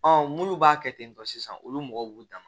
munnu b'a kɛ ten tɔ sisan olu mɔgɔw b'u dan ma